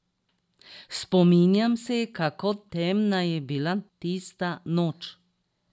Spominjam se, kako temna je bila tista noč.